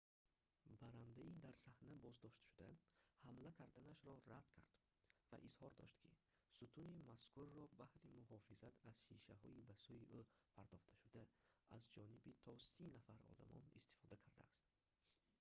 баррандаи дар саҳна боздоштшуда ҳамла карданашро рад кард ва изҳор дошт ки сутуни мазкурро баҳри муҳофизат аз шишаҳои ба сӯи ӯ партофташуда за ҷониби то сӣ нафар одамон истифода кардааст